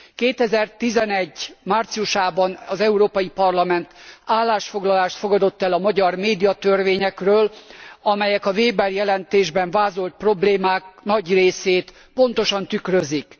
2011 márciusában az Európai Parlament állásfoglalást fogadott el a magyar médiatörvényekről, amelyek a Wéber jelentésben vázolt problémák nagy részét pontosan tükrözik.